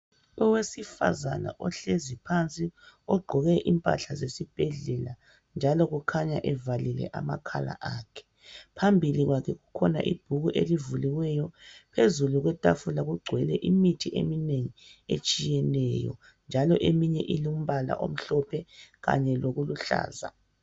Owesifazana ohlezi phansi ogqoke impahla zesibhedlela njalo kukhanya evalile amakhala akhe. Phambili kwakhe kukhona ibhuku elivuliweyo, phezulu kwetafula kugcwele imithi eminengi etshiyeneyo njalo eminye ilombala omhlophe kanye lokuluhlaza.